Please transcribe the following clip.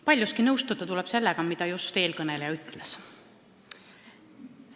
Paljuski tuleb nõustuda sellega, mida eelkõneleja just ütles.